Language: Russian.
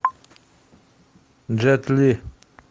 джет ли